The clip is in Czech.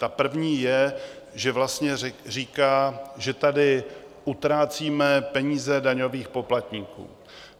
Ta první je, že vlastně říká, že tady utrácíme peníze daňových poplatníků.